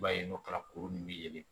I b'a ye n'o kɛra kuru nunnu bɛ ye